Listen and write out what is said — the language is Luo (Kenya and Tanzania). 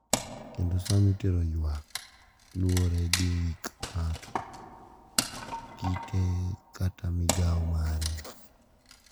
Kendo sa ma itere yuak luwore gi hik ng`ato, kite kata migao mare.